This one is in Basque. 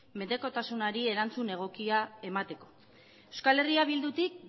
menpekotasunari erantzun egokia emateko euskal herria bildutik